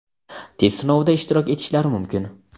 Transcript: test sinovida ishtirok etishlari mumkin.